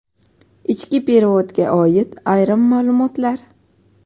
Ichki perevodga oid ayrim maʼlumotlar.